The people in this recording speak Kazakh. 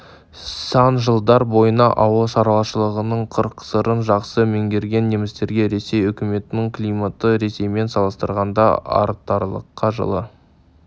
сан жылдар бойына ауыл шаруашылығының қыр-сырын жақсы меңгерген немістерге ресей үкіметінің климаты ресеймен салыстырғанда айтарлықтай жылы